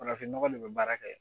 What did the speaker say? Farafin nɔgɔ de bɛ baara kɛ